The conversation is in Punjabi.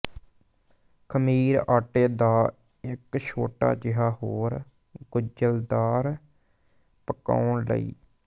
ਖਮੀਰ ਆਟੇ ਦਾ ਇੱਕ ਛੋਟਾ ਜਿਹਾ ਹੋਰ ਗੁੰਝਲਦਾਰ ਪਕਾਉਣ ਲਈ